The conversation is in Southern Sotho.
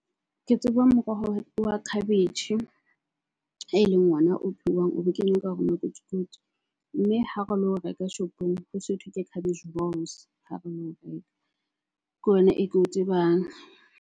Ke tseba moroho wa cabbage e leng ona o phehuwang, o bo kenywa ka hara makotikoti. Mme ha re lo reka shopong, ho so thwe ke cabbage rolls ha re lo reka ke ona e ke o tsebang.